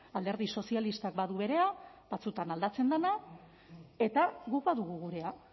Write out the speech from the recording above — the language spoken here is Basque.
alderdi sozialistak badu berea batzuetan aldatzen dena eta guk badugu gurea